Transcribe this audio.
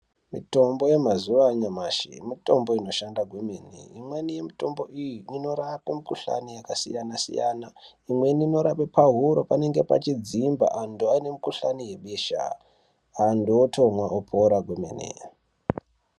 Mitombo yemazuwa anyamashi mitombo inoshanda kwemene. Imweni yemitombo iyi inorape mikuhlani yakasiyana-siyana. Imweni inorape pahuro panenge pachidzimba antu ane mukuhlani yebesha. Antu otomwa, otopora kwemene